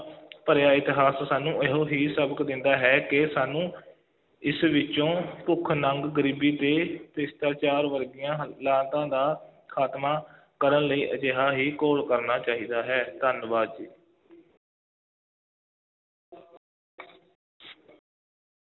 ਭਰਿਆ ਇਤਿਹਾਸ ਸਾਨੂੰ ਇਹੋ ਹੀ ਸਬਕ ਦਿੰਦਾ ਹੈ ਕਿ ਸਾਨੂੰ ਇਸ ਵਿੱਚੋਂ ਭੁੱਖ-ਨੰਗ, ਗਰੀਬੀ ਅਤੇ ਭ੍ਰਿਸ਼ਟਾਚਾਰ ਵਰਗੀਆਂ ਦਾ ਖਾਤਮਾ ਕਰਨ ਲਈ ਅਜਿਹਾ ਹੀ ਘੋਲ ਕਰਨਾ ਚਾਹੀਦਾ ਹੈ, ਧੰਨਵਾਦ ਜੀ।